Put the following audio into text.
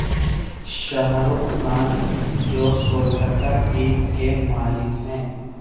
شاہ رخ خان جو کولکتہ ٹیم کے مالک ہیں